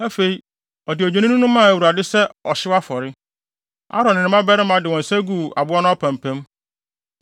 Afei, ɔde odwennini no maa Awurade sɛ ɔhyew afɔre. Aaron ne ne mmabarima de wɔn nsa guu aboa no apampam.